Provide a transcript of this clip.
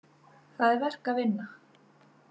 Það er verk að vinna.